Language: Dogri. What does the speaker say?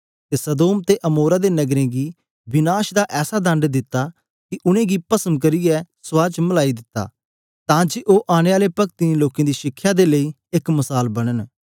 अते सदोम अते अमोरा दे घरा गी विनाश दा ऐसा दण्ड दिता कि उनेगी पस्म करचै रख च मिलाई दिता ताकि ओह आनेआले पक्तिहेन लोकें दी शिखया दे लेई इक उदारण ठैरे